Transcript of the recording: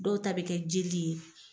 Dɔw ta bɛ kɛ jeli ye.